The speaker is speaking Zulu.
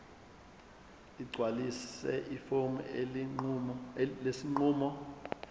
ligcwalise ifomu lesinqumo